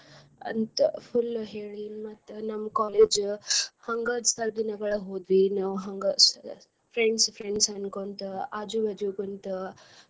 ಅಂತ full ಹೇಳಿ ಮತ್ತ್ ನಮ್ college ಹಂಗ ಸ್ವಲ್ಪ ದಿನಗಳ್ ಹೋದ್ವಿ ನಾವ್ ಹಂಗ friends friends ಅನ್ಕೊಂತ ಆಜು ಬಾಜು ಕುಂತ.